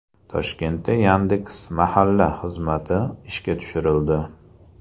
Toshkentda Yandex.Mahalla xizmati ishga tushirildi.